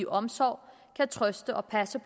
omsorg kan trøste og passe